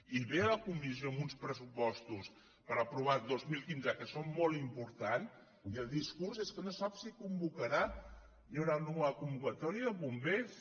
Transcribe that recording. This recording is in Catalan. i ve a la comissió amb uns pressupostos per aprovar dos mil quinze que són molt importants i el discurs és que no sap si les convocarà si hi haurà o no una convocatòria de bombers